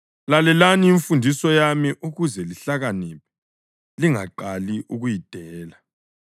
Lalelani imfundiso yami ukuze lihlakaniphe; lingaqali ukuyidela.